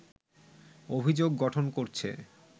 অভিযোগ গঠন করছে